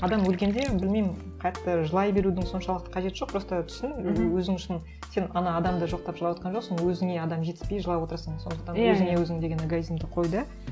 адам өлгенде білмеймін қатты жылай берудің соншалықты қажеті жоқ просто түсін өзің үшін сен ана адамды жоқтап жылаватқан жоқсың өзіңе адам жетіспей жылап отырсың сондықтан өзіңе өзің деген эгоизмді қой да